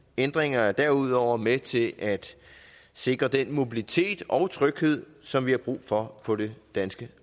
ændringerne er derudover med til at sikre den mobilitet og tryghed som vi har brug for på det danske